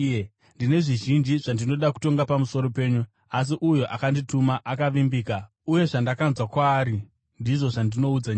Ndine zvizhinji zvandinoda kutonga pamusoro penyu. Asi uyo akandituma akavimbika, uye zvandakanzwa kwaari ndizvo zvandinoudza nyika.”